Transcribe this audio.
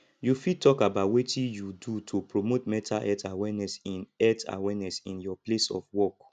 you fit talk about wetin you do to promote mental health awareness in health awareness in your place of work